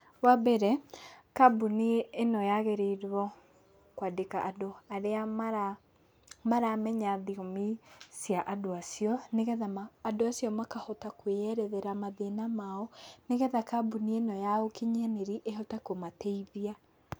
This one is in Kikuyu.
Wa mbere, kambuni ĩno yagĩrĩirwo kwandĩka andũ arĩa maramenya thiomi cia andũ acio, nĩ getha andũ acio makahota kwĩerethera mathĩna mao, nĩgetha kambuni ĩno ya ũkinyanĩrĩa ĩhote kũmateithia.